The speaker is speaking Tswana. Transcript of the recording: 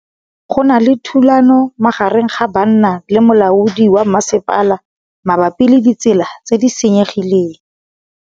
Go na le thulanô magareng ga banna le molaodi wa masepala mabapi le ditsela tse di senyegileng.